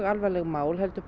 alvarleg mál heldur